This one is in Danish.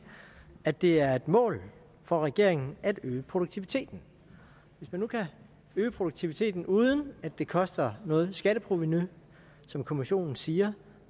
at det er et mål for regeringen at øge produktiviteten hvis man nu kan øge produktiviteten uden at det koster noget skatteprovenu som kommissionen siger